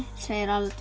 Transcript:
segir